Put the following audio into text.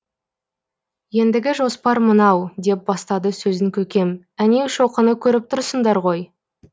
ендігі жоспар мынау деп бастады сөзін көкем әнеу шоқыны көріп тұрсыңдар ғой